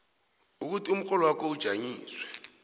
ukuthi umrholwakho ujanyiswe